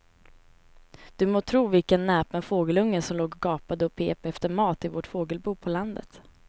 Du må tro vilken näpen fågelunge som låg och gapade och pep efter mat i vårt fågelbo på landet.